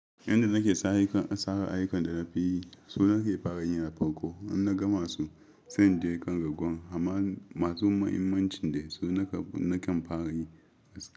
Yanda nake sare ayukan da na fi yi, su nake fara yin a farko in na gama su, sai na je kan ragowan. Amma masu muhimmancin dai su nakan fara yi a safe.